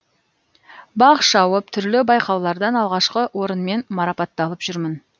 бақ шауып түрлі байқаулардан алғашқы орынмен марапатталып жүрмін